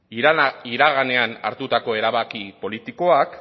iraganean hartutako erabaki politikoak